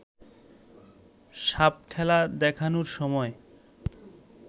সাপখেলা দেখানোর সময়